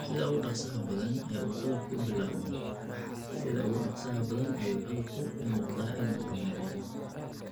Sida ugu dhakhsaha badan ee uu cudurku u bilaabmo, sida ugu dhakhsaha badan ayuu cudurku u muuqdaa inuu horumarayo.